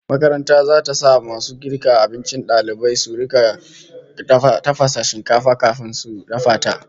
Makaranta zata sa masu girka abincin dalibai su rika fara tafasa shinkafa kafin a dafa ta